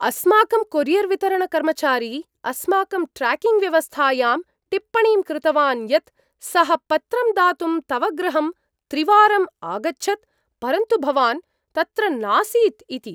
अस्माकं कोरियर्वितरणकर्मचारी अस्माकं ट्र्याकिंग्व्यवस्थायां टिप्पणीं कृतवान् यत् सः पत्रं दातुं तव गृहं त्रिवारं आगच्छत्, परन्तु भवान् तत्र नासीत् इति।